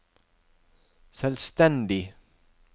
selvstendig